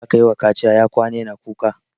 Yaron da aka yiwa kaciya ya kwana yana kuka.